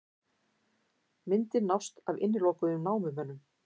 Myndir nást af innilokuðum námumönnum